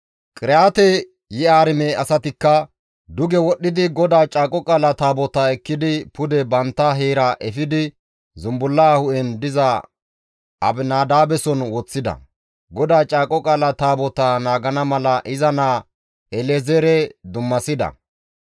Qiriyaate-Yi7aarime asatikka duge wodhdhidi GODAA Caaqo Qaala Taabotaa ekkidi pude bantta heera efidi zumbulla hu7en diza Abinadaabeson woththida; GODAA Caaqo Qaala Taabotaa naagana mala iza naa El7ezeere dummasida.